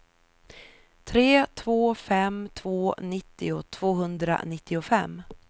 tre två fem två nittio tvåhundranittiofem